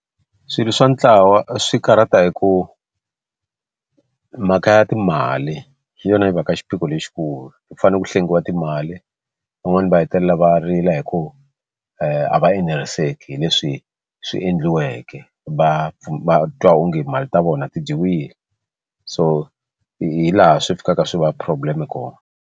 Swilo swa ntlawa swi karhata hi ku mhaka ya timali hi yona yi va ka xiphiqo lexikulu ku fanele ku hlengiwa timali van'wani va hetelela va rila hi ku a va eneriseki hi leswi swi endliweke va va twa onge mali ta vona ti dyiwile so hi laha swi fikaka swi va problem kona.